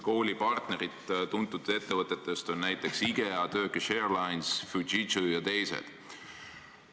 Tuntud ettevõtetest on on kooli partnerid näiteks Ikea, Turkish Airlines, Fujitsu ja teised.